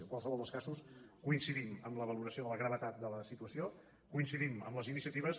en qualsevol dels casos coincidim en la valoració de la gravetat de la situació coincidim en les iniciatives